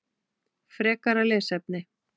Frekara lesefni